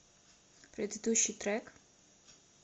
предыдущий трек